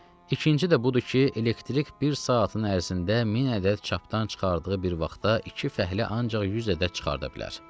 İkinci də budur ki, elektrik bir saatın ərzində min ədəd çapdan çıxardığı bir vaxtda iki fəhlə ancaq yüz ədəd çıxarda bilər.